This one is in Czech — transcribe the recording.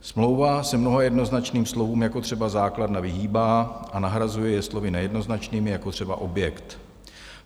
Smlouva se mnoha jednoznačným slovům, jako třeba základna, vyhýbá a nahrazuje je slovy nejednoznačnými, jako třeba objekt.